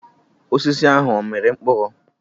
Osisi ahụ ọ mịrị mkpụrụ?